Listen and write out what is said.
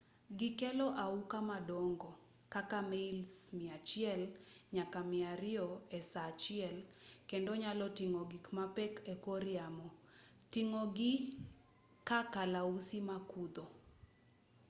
gikelo auka madongo kaka mails 100 nyaka 200 esaa achiel kendo nyalo ting'o gik mapek ekor yamo ting'o gii ka kalausi makudho